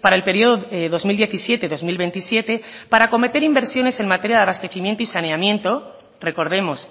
para el periodo dos mil diecisiete dos mil veintisiete para acometer inversiones en materia de abastecimiento y saneamiento recordemos